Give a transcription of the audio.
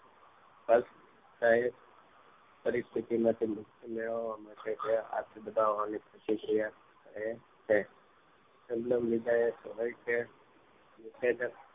સ્પષ્ટ પ્રતિક્રિયા માંથી મુક્તિ મેળવવા માટે આટલે બધે આવાની પ્રતિક્રિયા કરે છે મન માં મુજાયેલ હોય કે ઉત્સેચક